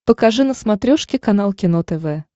покажи на смотрешке канал кино тв